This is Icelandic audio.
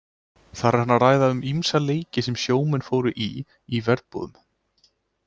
Þar er hann að ræða um ýmsa leiki sem sjómenn fóru í í verbúðum.